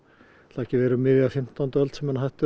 ekki verið um miðja fimmtán öld sem menn hættu